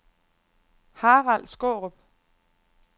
Harald Skaarup